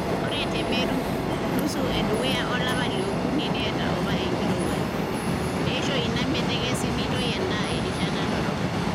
Ore te Meru, nusu edukuya olapa le okuni neeta apa enkirowuaj, neisho ina metekesi nitoi endaa erishata dorrop.